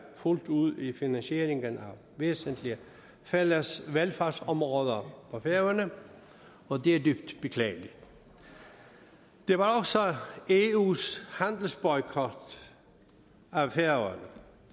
fuldt ud i finansieringen af væsentlige fælles velfærdsområder for færøerne og det er dybt beklageligt der var også eus handelsboykot af færøerne